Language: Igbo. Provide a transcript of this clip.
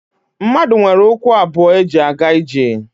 Mmadụ nwere ụkwụ abụọ eji aga ije